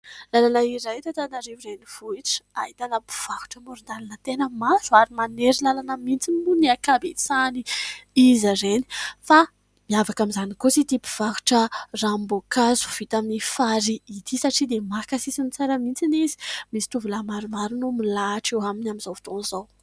Làlana iray eto Antananarivo renivohitra, ahitana mpivarotra amoron-dàlana tena maro ary manery ny làlana mihitsy moa ny ankabetsahan'izy ireny ; fa miavaka amin'izany kosa ity mpivarotra ranom-boankazo vita amin'ny fary ity satria dia maka sisiny tsara mihitsy izy. Misy tovolahy maromaro no milahatra eo aminy amin'izao fotoana izao.